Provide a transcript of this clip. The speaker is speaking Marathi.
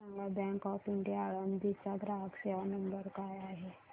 मला सांगा बँक ऑफ इंडिया आळंदी चा ग्राहक सेवा नंबर काय आहे